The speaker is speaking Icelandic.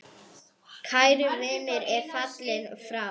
Kær vinur er fallin frá.